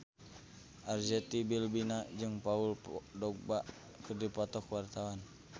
Arzetti Bilbina jeung Paul Dogba keur dipoto ku wartawan